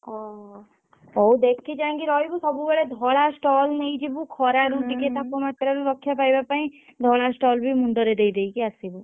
ଓ ହୋ। ହଉ ଦେଖି ଚାହିଁକି ରହିବୁ ସବୁବେଳେ ଧଳା ସ୍ତଲ୍ ନେଇଯିବୁ ଖରାରୁ ଟିକେ ତପମାତ୍ରାରୁ ରକ୍ଷା ପାଇବା ପାଇଁ ଧଳା ସ୍ତଲ୍ ଦେ~ ମୁଣ୍ଡରେ ଦେଇଦେଇକି ଆସିବୁ।